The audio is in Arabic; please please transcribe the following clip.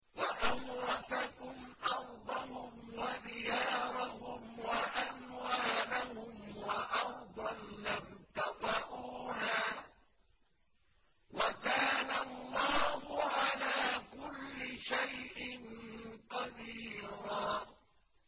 وَأَوْرَثَكُمْ أَرْضَهُمْ وَدِيَارَهُمْ وَأَمْوَالَهُمْ وَأَرْضًا لَّمْ تَطَئُوهَا ۚ وَكَانَ اللَّهُ عَلَىٰ كُلِّ شَيْءٍ قَدِيرًا